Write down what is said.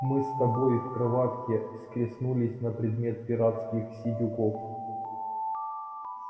мы с тобой в кроватке схлестнулись на предмет пиратских сидюков